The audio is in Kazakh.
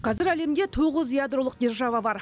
қазір әлемде тоғыз ядролық держава бар